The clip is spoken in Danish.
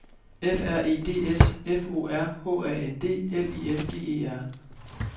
F R E D S F O R H A N D L I N G E R